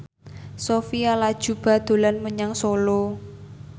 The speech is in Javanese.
Sophia Latjuba dolan menyang Solo